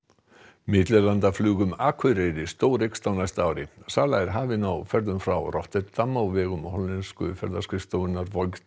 millilandaflug um Akureyri stóreykst á næsta ári sala er hafin á ferðum frá Rotterdam á vegum hollensku ferðaskrifstofunnar